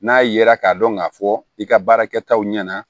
N'a yera k'a dɔn k'a fɔ i ka baara kɛtaw ɲɛna